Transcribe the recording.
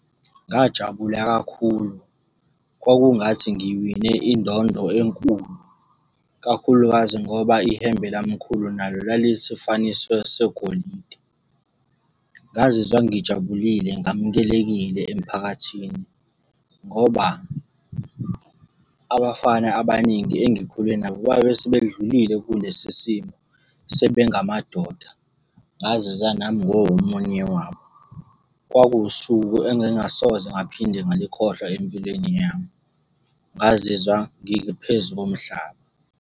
Ngajabula kakhulu, kwakungathi ngiwine indondo enkulu, kakhulukazi ngoba ihembe lamkhulu nalo lalisifaniso segolide. Ngazizwa ngijabulile ngamukelekile emphakathini, ngoba abafana abaningi engikhule nabo babe sebedlulile kulesi simo, sebe ngamadoda. Ngazizwa nami ngingomunye wabo. Kwakuwusuku engingasoze ngaphinde ngalikhohlwa empilweni yami. Ngazizwa ngiphezu komhlaba.